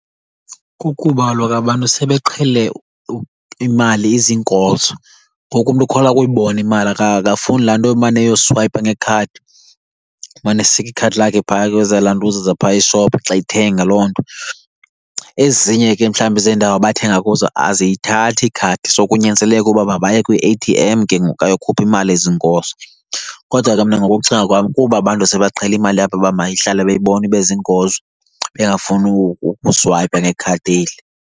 Kukuba kaloku abantu sebeqhele imali iziinkozo ngoku umntu ukholwa kuyibona imali , akafuni laa nto emane eyokuswayipa ngekhadi, emane esika ikhadi lakhe phaa kwezaa lantuza zaphaya eshophu xa ethenga loo nto. Ezinye ke mhlawumbi zeendawo abathenga kuzo aziyithathi ikhadi so kunyanzeleke ukuba mabaye kwi-A_T_M ke ngoku ayokhupha imali ezinkozo. Kodwa ke mna ngokokucinga kwam kuba abantu sebaqhela imali yabo uba mayihlale beyibona ibe ziinkozo, bengafuni ukuswayipa ngekhadi eli.